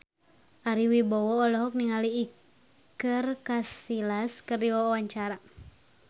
Ari Wibowo olohok ningali Iker Casillas keur diwawancara